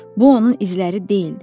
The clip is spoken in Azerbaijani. Bu onun izləri deyildi.